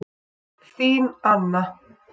Þín Anna.